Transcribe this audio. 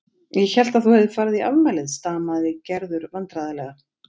Ég hélt að þú hefðir farið í afmælið stamaði Gerður vandræðalega.